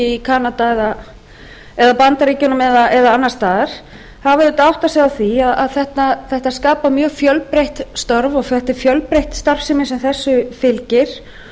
í kanada eða bandaríkjunum eða annars staðar þá verður auðvitað að átta sig á því að þetta skapar mjög fjölbreytt störf og þetta er fjölbreytt starfsemi sem þessu fylgir